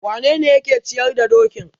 awanene yake ciyar da dokin?